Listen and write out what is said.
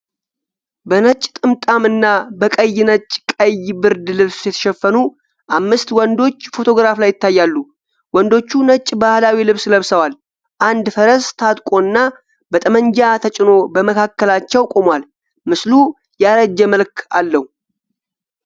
በነጭ ጥምጣም እና በቀይ-ነጭ-ቀይ ብርድ ልብስ የተሸፈኑ አምስት ወንዶች ፎቶግራፍ ላይ ይታያሉ። ወንዶቹ ነጭ ባህላዊ ልብስ ለብሰዋል፤ አንድ ፈረስ ታጥቆና በጠመንጃ ተጭኖ በመካከላቸው ቆሟል። ምስሉ ያረጀ መልክ አለው።